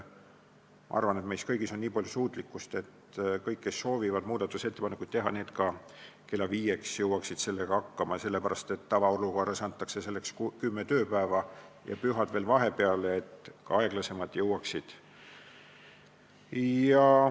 Ma arvan, et meis on nii palju suutlikkust, et kõik, kes soovivad muudatusettepanekuid teha, saavad kella viieks sellega hakkama, sest tavaolukorras antakse selleks aega kümme tööpäeva ja pühad jäävad veel vahepeale, et ka aeglasemad valmis jõuaksid.